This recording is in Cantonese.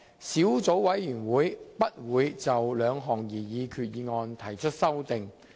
小組委員會不會就兩項擬議決議案提出修訂。